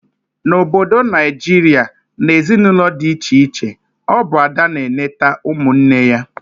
Na Obodo Naijiria, na ezinaụlọ dị iche iche, ọ bụ Ada na eneta ụmụ nwanne ya